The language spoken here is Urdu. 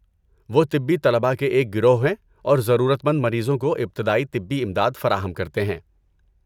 وہ طبی طلباء کے ایک گروہ ہیں اور ضرورت مند مریضوں کو ابتدائی طبی امداد فراہم کرتے ہیں۔